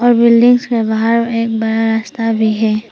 और बिल्डिंग्स बाहर में एक बड़ा रास्ता भी है।